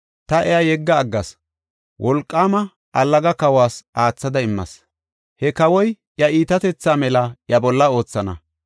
ta iya yegga aggas; wolqaama, allaga kawas aathada immas. He kawoy iya iitatethaa mela iya bolla oothana.